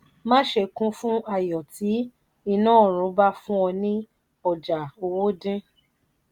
má ṣe kún fún ayo tí iná ọrùn bá fún ọ ní ọjà owó dín.